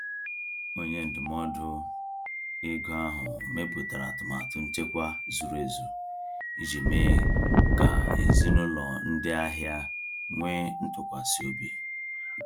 Onye ndụmọdụ ego ahụ mepụtara atụmatụ nchekwa zuru ezu iji mee ka ezinụlọ ndị ahịa nwee ntụkwasị obi.